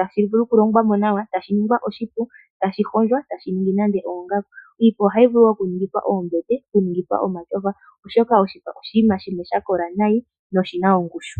tashi vulu okulongwa nawa, etashi ningi oshipu, eta shi hondjwa, eta shi ningi nenge oongaku. iipa ohayi vulu okuningithwa oombete, nenge omatyofa, osho ka oshinima shimwe shakola nayi, osho oshina ongushu.